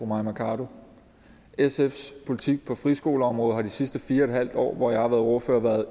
mai mercado sfs politik på friskoleområdet har de sidste fire en halv år hvor jeg har været ordfører været